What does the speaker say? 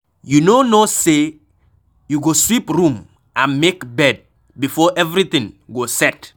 You no know say you go sweep room and make bed before everything go set.